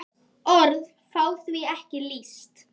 Orð fá því ekki lýst.